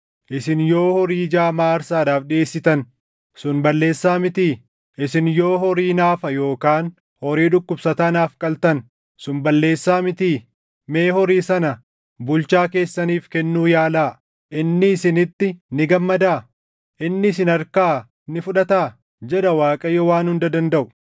Isin yoo horii jaamaa aarsaadhaaf dhiʼeessitan, sun balleessaa mitii? Isin yoo horii naafa yookaan horii dhukkubsataa naaf qaltan, sun balleessaa mitii? Mee horii sana bulchaa keessaniif kennuu yaalaa! Inni isinitti ni gammadaa? Inni isin harkaa ni fudhataa?” jedha Waaqayyo Waan Hunda Dandaʼu.